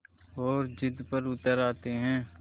और ज़िद पर उतर आते हैं